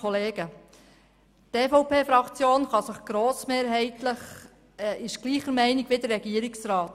Die EVP-Fraktion ist grossmehrheitlich derselben Meinung wie der Regierungsrat.